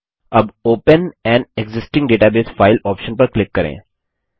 अब open an existing database file option पर click करें